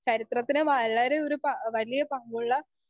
speaker 1 ചരിത്രത്തിലെ വളരെ ഒരു പ വലിയ പങ്കുള്ള